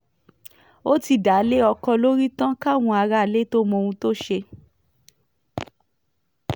ó ti dá a lé ọkọ lórí tán káwọn aráalé tóo mọ ohun tó ṣe